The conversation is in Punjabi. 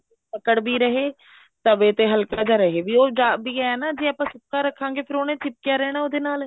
ਪਕੜ ਵੀ ਰਹੇ ਤਵੇ ਤੇ ਹਲਕਾ ਜਾ ਰਹੇ ਵੀ ਏਵੇਂ ਹੈ ਨਾ ਜੇ ਆਪਾਂ ਸੁੱਕਾ ਰੱਖਾਗੇ ਫ਼ੇਰ ਉਹਨੇ ਚਿਪਕਿਆ ਰਹਿਣਾ ਉਹਦੇ ਨਾਲ